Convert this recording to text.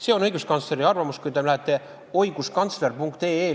See on õiguskantsleri arvamus, mida te näete, kui te lähete lehele oiguskantsler.ee.